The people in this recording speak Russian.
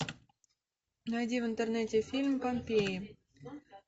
найди в интернете фильм помпея